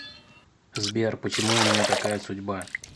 сбер почему у меня такая судьба